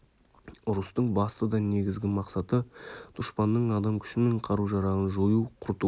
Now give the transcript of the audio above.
ұрыстың басты да негізгі мақсаты дұшпанның адам күші мен қару-жарағын жою құрту